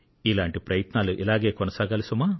ఇలాంటి ప్రయత్నాలు ఇలాగే కొనసాగాలి సుమా